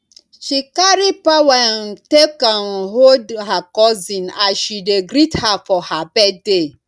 she carry power um take um hold her cousin as she dey greet her for her birthday